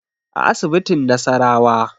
A asibitin nasarawa